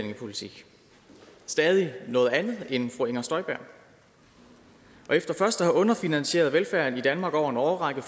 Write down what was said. stadig noget andet end fru inger støjberg og efter først at have underfinansieret velfærden i danmark over en årrække